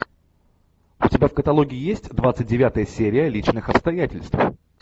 у тебя в каталоге есть двадцать девятая серия личных обстоятельств